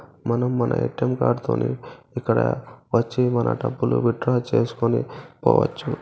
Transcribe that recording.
మనం మన ATM card తోని ఇక్కడ వచ్చి మన డబ్బులు విత్ డ్రా చేసుకొని పోవచ్చు.